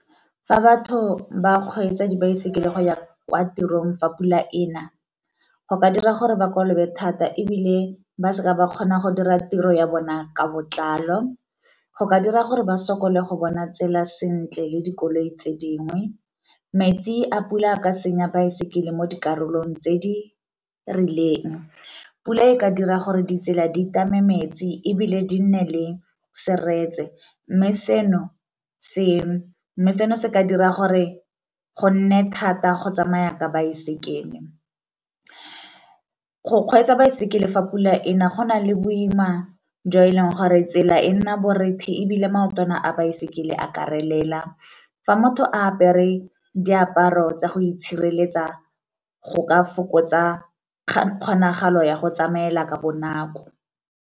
Fa batho ba kgweetsa dibaesekele go ya kwa tirong fa pula e na, go ka dira gore ba kolobe thata ebile ba seka ba kgona go dira tiro ya bona ka botlalo. Go ka dira gore ba sokole go bona tsela sentle le dikoloi tse dingwe, metsi a pula a ka senya baesekele mo dikarolong tse di rileng, pula e ka dira gore ditsela di tame metsi ebile di nne le seretse, mme seno se ka dira gore go nne thata go tsamaya ka baesekele. Go kgweetsa baesekele fa pula ena go na le boima jo e leng gore tsela e nna borethe ebile maotwana a baesekele a ka relela. Fa motho a apere diaparo tsa go itshireletsa go ka fokotsa kgonagalo ya go tsamaela ka bonako.